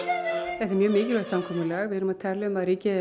þetta er mjög mikilvægt samkomulag við erum að tala um að ríkið er